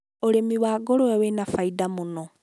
ũrĩmi wa ngũrũwe wĩ na baida mũno.